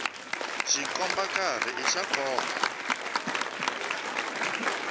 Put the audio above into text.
xikomba nkarhi i xa nkoka